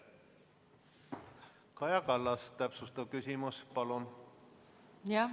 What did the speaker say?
Kaja Kallas, täpsustav küsimus palun!